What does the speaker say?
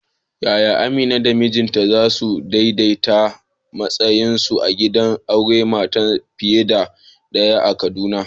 Yaya Amina da mijinta za su daidaita matsayinsu a gidan auren mata fiye da ɗaya a Kaduna?